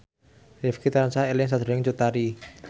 Rifqi tansah eling sakjroning Cut Tari